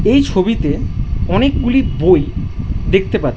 এই ছবিতে অনেকগুলি বই দেখতে পা--